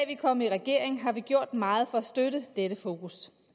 vi kom i regering har vi gjort meget for at støtte dette fokus